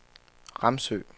Ramsø